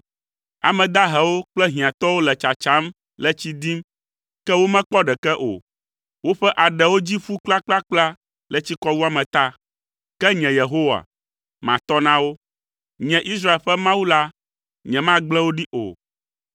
“Ame dahewo kple hiãtɔwo le tsatsam le tsi dim, ke womekpɔ ɖeke o. Woƒe aɖewo dzi ƒu kplakplakpla le tsikɔwuame ta. Ke nye Yehowa, matɔ na wo; nye Israel ƒe Mawu la nyemagble wo ɖi o.